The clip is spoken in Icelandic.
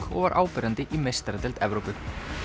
og var áberandi í meistaradeild Evrópu